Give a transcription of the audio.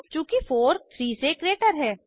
चूँकि 43 से ग्रेटर है